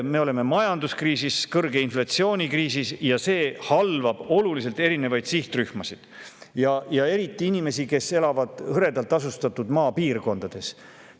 Me oleme majanduskriisis, kõrge inflatsiooni kriisis, ja see halvab olulisel määral erinevaid sihtrühmasid, eriti aga inimesi, kes elavad hõredalt asustatud maapiirkondades.